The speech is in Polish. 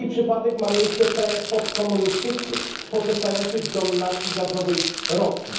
Taki przypadek ma miejsce w krajach postkomunistycznych, pozostających w dominacji gazowej Rosji.